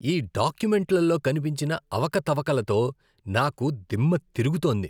ఈ డాక్యుమెంట్లలో కనిపించిన అవకతవకలతో నాకు దిమ్మ తిరుగుతోంది.